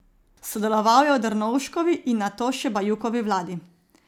Sodeloval je v Drnovškovi in nato še Bajukovi vladi.